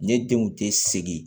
Ne denw te sigi